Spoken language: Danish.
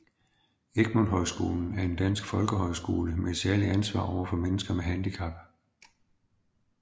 Egmont Højskolen er en dansk folkehøjskole med et særligt ansvar over for mennesker med handicap